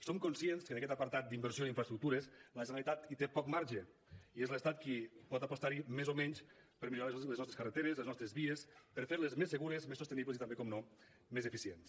som conscients que en aquest apartat d’inversió d’infraestructures la generalitat hi té poc marge i és l’estat qui pot apostar hi més o menys per millorar les nostres carreteres les nostres vies per fer les més segures més sostenibles i també naturalment més eficients